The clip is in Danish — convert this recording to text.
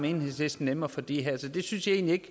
enhedslisten nemmere for de her så det synes jeg egentlig